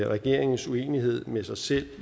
regeringens uenighed med sig selv